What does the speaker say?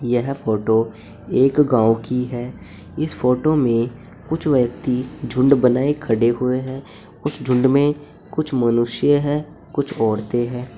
यह फोटो एक गांव की है इस फोटो में कुछ व्यक्ति झुंड बनाए खड़े हुए हैं उस झुंड में कुछ मनुष्य है कुछ औरते हैं।